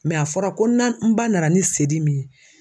a fɔra ko na n ba nana ni seri min ye